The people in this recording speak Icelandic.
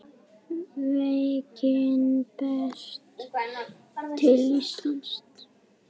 Veikin berst til Íslands